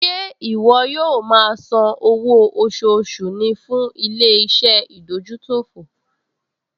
Ṣé ìwọ yóò máa san owó oṣooṣù ní fún ilé-iṣẹ́ ìdójútòfò?